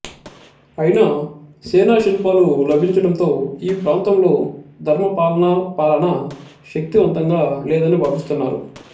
అయినా సేనా శిల్పాలు లభించడంతో ఈ ప్రాంతంలో ధర్మపాలనా పాలన శక్తివంతంగా లేదని భావిస్తున్నారు